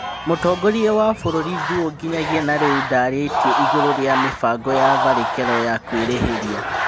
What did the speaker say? Mũtongoria wa bũrũri Thuo nginyagia na rĩ u ndarĩ tie igũrũ rĩ a mibango ya tharĩ kĩ ro ya kwĩ rĩ hĩ ria